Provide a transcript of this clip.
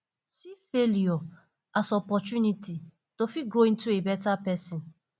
see failure as opportunity to fit grow into a better person